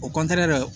O de